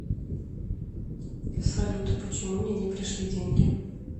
салют почему мне не пришли деньги